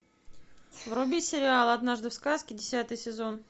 вруби сериал однажды в сказке десятый сезон